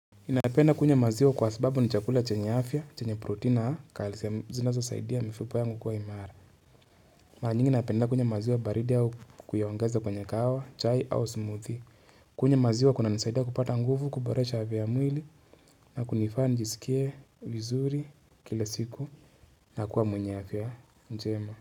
Napenda kunywa maziwa kwa sababu ni chakula chenya afya chenya protein na calcium zinazosaidia mifupa yangu kuwa imara mara nyingi napenda kunywa maziwa baridi au kuyaongeza kwenye kahawa, chai au smoothie kunywa maziwa kunanisaidia kupata nguvu, kuboresha afya ya mwili na kunifanya nijiskie vizuri kila siku na kuwa mwenye afya njema.